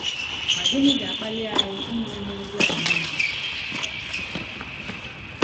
Ma gịnị ga-akpali anyị ime ihe ndị a niile?